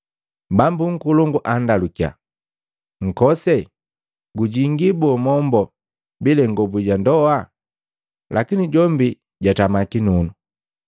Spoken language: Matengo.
Bambu nkolongu andalukiya, ‘Nkose, gujingi boo mombo bila ingobu ja ndoa?’ Lakini jombi jatama kinunu.